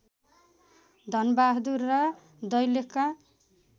धनबहादुर र दैलेखका